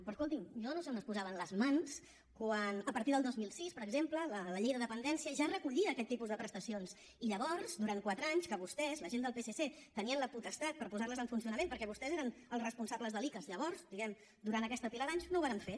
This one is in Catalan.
però escolti’m jo no sé on es posaven les mans quan a partir del dos mil sis per exemple la llei de dependència ja recollia aquest tipus de prestacions i llavors durant quatre anys que vostès la gent del psc tenien la potestat per posarles en funcionament perquè vostès eren els responsables de l’icass llavors diguemne durant aquesta pila d’anys no ho varen fer